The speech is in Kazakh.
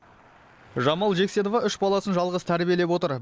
жамал жексенова үш баласын жалғыз тәрбиелеп отыр